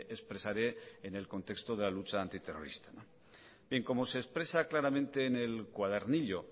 expresaré en el contexto de la lucha antiterrorista como se expresa claramente en el cuadernillo